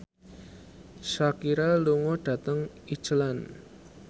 Shakira lunga dhateng Iceland